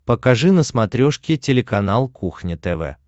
покажи на смотрешке телеканал кухня тв